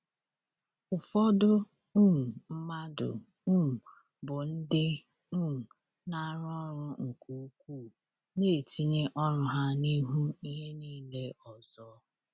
Ụfọdụ um mmadụ um bụ ndị um na-arụ ọrụ nke ukwuu, na-etinye ọrụ ha n’ihu ihe niile ọzọ.